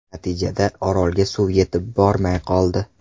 Natijada, Orolga suv yetib bormay qoldi.